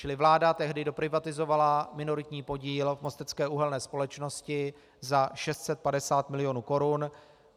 Čili vláda tehdy doprivatizovala minoritní podíl v Mostecké uhelné společnosti za 650 milionů korun.